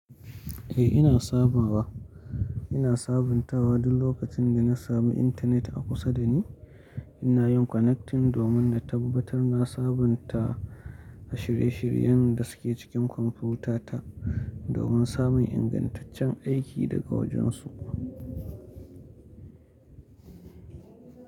Eh, ina sabawa. Ina sabuntawa duk lokacin da na samu intanet a kusa da ni. Ina yin connecting domin na tabbatar na sabunta shirye-shiryen da suke cikin kwamfutata domin samun ingantaccen aiki daga wajensu.